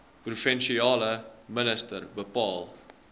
provinsiale minister bepaal